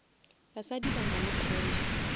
basadi ba nale pressure